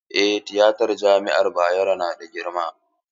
Eh tiyatan jami'ar Bayero na da girma.